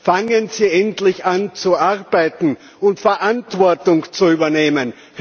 Fangen Sie endlich an, zu arbeiten und Verantwortung zu übernehmen.